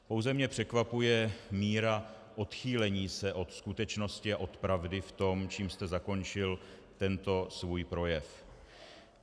Pouze mě překvapuje míra odchýlení se od skutečnosti a od pravdy v tom, čím jste zakončil tento svůj projev.